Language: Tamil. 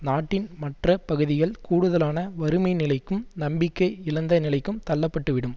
நாட்டின் மற்ற பகுதிகள் கூடுதலான வறுமை நிலைக்கும் நம்பிக்கை இழந்த நிலைக்கும் தள்ளப்பட்டுவிடும்